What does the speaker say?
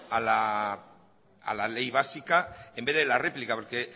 a la ley básica en vez de a la réplica porque